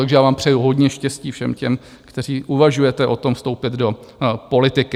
Takže já vám přeju hodně štěstí, všem těm, kteří uvažujete o tom vstoupit do politiky.